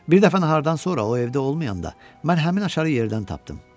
Bir dəfə nahardan sonra, o evdə olmayanda mən həmin açarı yerdən tapdım.